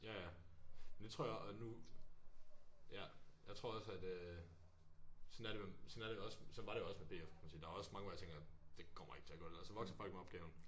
Ja ja men det tror jeg og nu ja jeg tror også at øh sådan er sådan er det også sådan var det også med P F kan man sige der er også mange hvor jeg tænker det kommer ikke til at gå det der og så vokser folk med opgaven